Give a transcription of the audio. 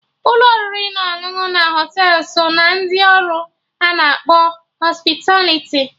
Ụlọ oriri na ọṅụṅụ na Họtelụ so ná ndị ọrụ ana akpọ Hospitaliti